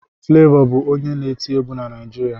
Flevọ bụ onye na-eti egwu na Naịjirịa